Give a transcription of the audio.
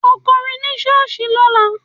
Ó kọrin ní ṣọ́ọ̀ṣì lọ́la!